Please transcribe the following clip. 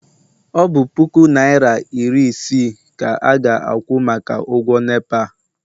ọ bụ puku naịra iri isii ka a ga-akwụ maka ụgwọ nepa?